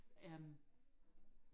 øhm